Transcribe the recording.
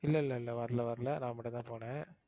இல்ல இல்ல இல்ல வரல வரல. நான் மட்டும் தான் போனேன்.